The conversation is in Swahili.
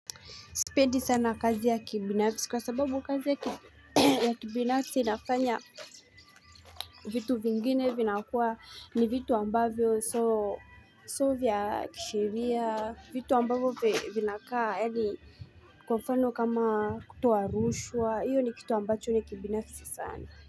Sipendi sana kazi ya kibinafisi kwa sababu kazi ya kibinafisi inafanya vitu vingine vinakuwa ni vitu ambavyo sio vya kisheria vitu ambavyo vinakaa yaani kwamfano kama kutoa rushwa hiyo ni kitu ambacho ni kibinafisi sana.